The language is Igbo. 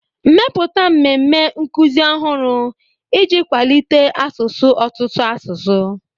Mepụta mmemme nkuzi ọhụrụ iji kwalite asụsụ ọtụtụ asụsụ